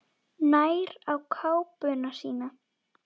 Nær í kápuna sína.